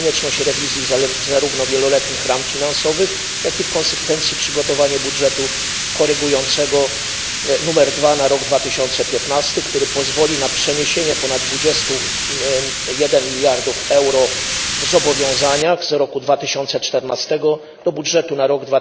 Stąd konieczność rewizji zarówno wieloletnich ram finansowych, jak i, w konsekwencji, przygotowania budżetu korygującego nr 2 na rok 2015, który pozwoli na przeniesienie ponad 21 mld euro w zobowiązaniach z roku 2014 do budżetu na rok